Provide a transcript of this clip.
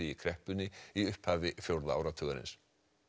í kreppunni í upphafi fjórða áratugarins